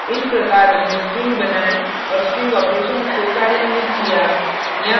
this प्रकार हमने strings बनाए और strings operations को कार्यान्वित किया